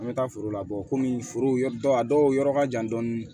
An bɛ taa foro la kɔmi foro yɔrɔ dɔw a dɔw yɔrɔ ka jan dɔɔni